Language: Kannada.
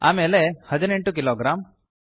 ಆಮೇಲೆ 18 ಕಿಲೋಗ್ರಾಮ್